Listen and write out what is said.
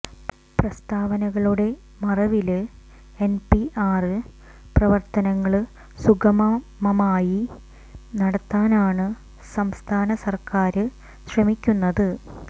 പ്രസ്താവനകളുടെ മറവില് എന്പിആര് പ്രവര്ത്തനങ്ങള് സുഗമമായി നടത്താനാണ് സംസ്ഥാന സര്ക്കാര് ശ്രമിക്കുന്നത്